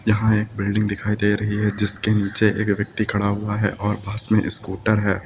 यहां एक बिल्डिंग दिखाई दे रही है जिसके नीचे एक व्यक्ति खड़ा हुआ है और पास में स्कूटर है।